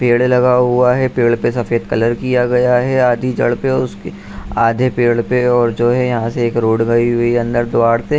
पेड़ लगा हुआ है। पेड़ पे सफेद कलर किया गया है। आधी जड़ पे है उसकी आधे पेड़ पे और जो है यहाँ से एक रोड गई हुई है अंदर द्वाड़ पे।